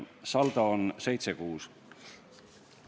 Saldo on 7 : 6.